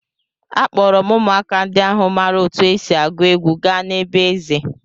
Akpọọrọ m ụmụaka ndị ahụ maara otú e si agụ egwu gaa na be eze.